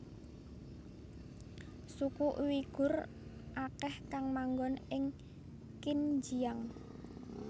Suku Uighur akeh kang manggon ing Xinjiang